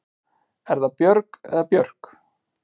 Er það Björg eða Björk?